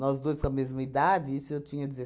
Nós dois com a mesma idade, isso eu tinha